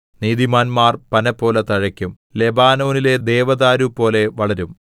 നീതിമാൻമാർ പനപോലെ തഴയ്ക്കും ലെബാനോനിലെ ദേവദാരുപോലെ വളരും